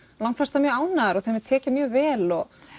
langflestar mjög ánægðar og þeim er tekið mjög vel